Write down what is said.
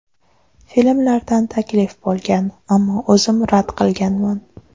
Filmlardan taklif bo‘lgan, ammo o‘zim rad qilganman.